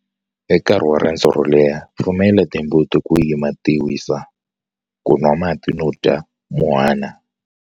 Hi nkarhi wa rendzo ro leha, pfumela timbuti ku yima ti wisa, ku nwa mati no dya muhwana.